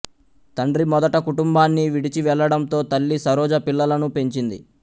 తండ్రి మొదట కుటుంబాన్ని విడిచివెళ్లడంతో తల్లి సరోజ పిల్లలను పెంచింది